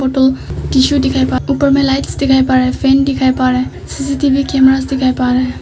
Tissue दिखाई पा रहा है ऊपर में लाइट दिखाई पा रहा हैं फैन दिखाई पा रहा हैं सी_सी_टी_वी कैमरास दिखाई पा रहा हैं।